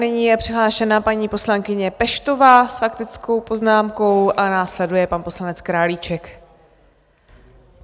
Nyní je přihlášena paní poslankyně Peštová s faktickou poznámkou a následuje pan poslanec Králíček.